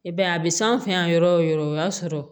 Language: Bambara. I b'a ye a bɛ s'an fɛ yan yɔrɔ o yɔrɔ o y'a sɔrɔ